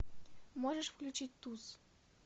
можешь включить туз